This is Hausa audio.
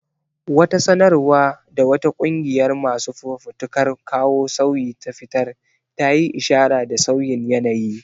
Wata sanarwa da wata ƙungiyar masu fafutukar kawo sauyi ta fitar ta yi ishara da sauyin yanayi.